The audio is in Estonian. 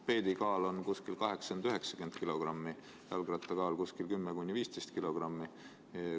Mopeedi kaal on umbes 80–90 kilogrammi, jalgratta kaal umbes 10–15 kilogrammi.